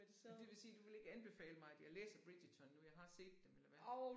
Men det vil sige du vil ikke anbefale mig at jeg læser Bridgerton nu jeg har set dem eller hvad?